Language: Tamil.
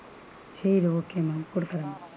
சேரி okay ma'am குடுக்குறேன்.